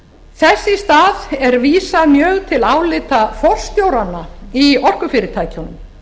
þess í stað er vísað mjög til álita forstjóranna í orkufyrirtækjunum